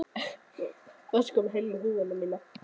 Varstu að koma með húfuna mína?